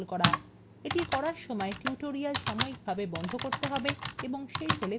এটি করার সময় tutorial সাময়িকভাবে বন্ধ করতে হবে এবং শেষ হলে পুনরায় করতে হবে